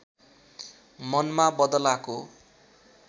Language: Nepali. मनमा बदलाको